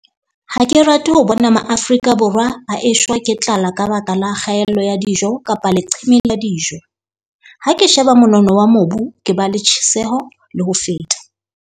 Ha ke rate ho bona Maafrika Borwa a eshwa ke tlala ka baka la kgaello ya dijo kapa leqeme la dijo. Ha ke sheba monono wa mobu ke ba le tjheseho le ho feta.